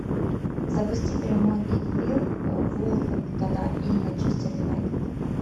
запусти прямой эфир вулверхэмптона и манчестер юнайтед